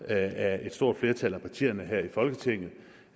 af et stort flertal af partierne her i folketinget